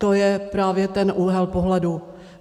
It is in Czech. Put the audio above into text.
To je právě ten úhel pohledu.